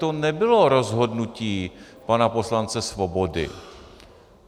To nebylo rozhodnutí pana poslance Svobody.